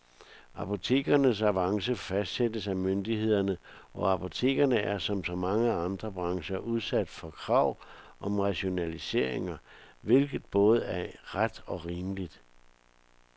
Apotekernes avance fastsættes af myndighederne, og apotekerne er som så mange andre brancher udsat for krav om rationaliseringer, hvilket både er ret og rimeligt.